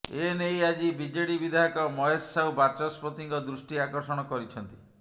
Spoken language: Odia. ଏ ନେଇ ଆଜି ବିଜେଡି ବିଧାୟକ ମହେଶ ସାହୁ ବାଚସ୍ପତିଙ୍କ ଦୃଷ୍ଟି ଆକର୍ଷଣ କରିଛନ୍ତି